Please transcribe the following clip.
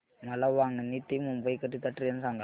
मला वांगणी ते मुंबई करीता ट्रेन सांगा